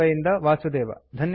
ಬಾಂಬೆ ಇಂದ ವಾಸುದೇವ